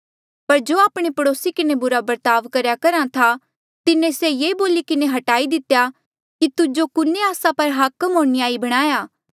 पर जो आपणे पड़ोसी किन्हें बुरा बर्ताव करेया करहा था तिन्हें से ये बोली किन्हें हटाई दितेया कि तुजो कुने आस्सा पर हाकम होर न्यायी बणाया